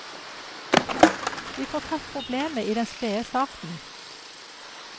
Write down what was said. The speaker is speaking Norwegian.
Vi får tatt problemet i den spede starten.